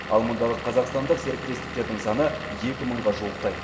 ал мұндағы қазақстандық серіктестіктердің саны екі мыңға жуықтайды